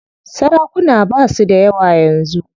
Sarakuna basu dayawa yanzu.